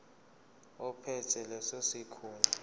ophethe leso sikhundla